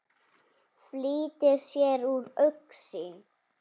Flýtir sér úr augsýn.